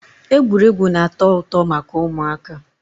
egwuregwu na-ato uto maka umuaka